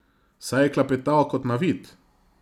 Saj je klepetal kot navit!